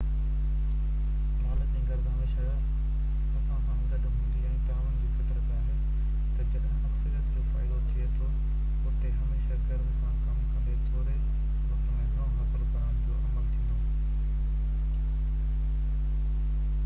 لالچ ۽ غرض هميشه اسان سان گڏ هوندي ۽ تعاون جي فطرت آهي ته جڏهن اڪثريت جو فائدو ٿئي ٿو اتي هميشه غرض سان ڪم ڪندي ٿوري وقت ۾ گهڻو حاصل ڪرڻ جو عمل ٿيندو